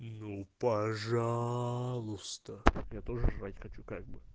ну пожалуйста я тоже жрать хочу как бы